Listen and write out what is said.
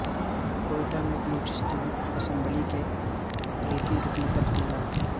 کوئٹہ میں بلوچستان اسمبلی کے اقلیتی رکن پر حملہ